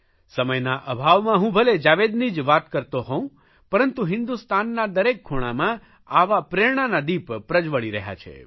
સમયના અભાવમાં હું ભલે જાવેદની જ વાતો કરતો હોઉ પરંતુ હિન્દુસ્તાનના દરેક ખૂણામાં આવા પ્રેરણાના દીપ પ્રજવળી રહ્યા છે